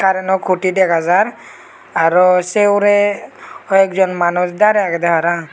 tey yenot koti dega jar arow sey hurey hoekjon manuj darey agedey parang.